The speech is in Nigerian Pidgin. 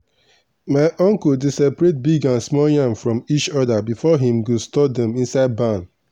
my uncle dey separate big and small yam from each other before him go store dem inside barn.